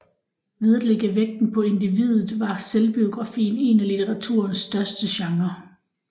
Ved at lægge vægten på individet var selvbiografien en af litteraturens største genrer